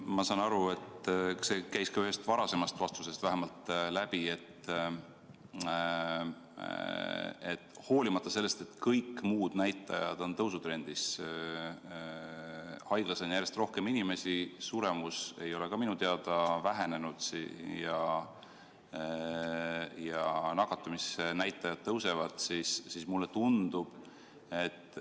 Ma saan aru, et see käis ka ühest varasemast vastusest läbi, et hoolimata sellest, et kõik muud näitajad on tõusutrendis – haiglas on järjest rohkem inimesi, suremus ei ole minu teada vähenenud ja nakatumisnäitajad tõusevad –, on raskeid haigeid vähem.